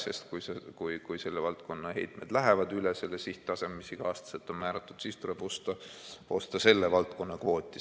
Sest kui selle valdkonna heitmed lähevad üle selle sihttaseme, mis iga-aastaselt on määratud, siis tuleb osta selle valdkonna kvooti.